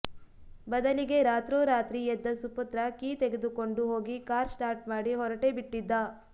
ಬದಲಿಗೆ ರಾತೋರಾತ್ರಿ ಎದ್ದ ಸುಪುತ್ರ ಕೀ ತೆಗೆದುಕೊಂಡು ಹೋಗಿ ಕಾರ್ ಸ್ಟಾರ್ಟ್ ಮಾಡಿ ಹೊರಟೇ ಬಿಟ್ಟಿದ್ದ